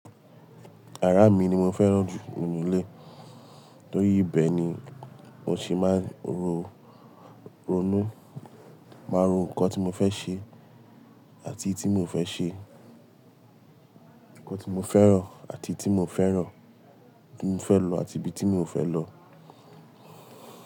Yàrá mi ni mó fèrán jú nínú ilé, tórí ibẹ ni mó sí máa n ro, ronú, máa ro nkó tí mó fè sé àti tí mó o fè sé, nkó tí mó féràn àti tí mó o féràn, ibi tí mó fè lò àti ibi tí mó o fè lò.